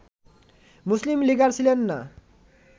মুসলিম লীগার ছিলেন না